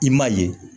I ma ye